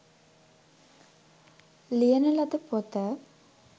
ලියන ලද පොත